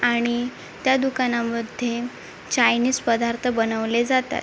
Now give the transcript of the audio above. आणि त्या दुकानामध्ये चायनिज पदार्थ बनवले जातात.